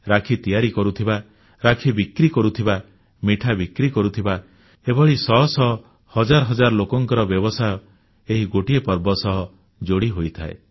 ରାକ୍ଷୀ ତିଆରି କରୁଥିବା ରାକ୍ଷୀ ବିକ୍ରି କରୁଥିବା ମିଠା ବିକ୍ରି କରୁଥିବା ଏଭଳି ଶହ ଶହ ହଜାର ହଜାର ଲୋକଙ୍କ ବ୍ୟବସାୟ ଏହି ଗୋଟିଏ ପର୍ବ ସହ ଯୋଡ଼ି ହୋଇଯାଏ